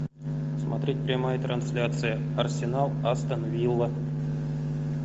смотреть прямая трансляция арсенал астон вилла